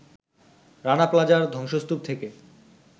রানা প্লাজার ধ্বংসস্তূপ থেকে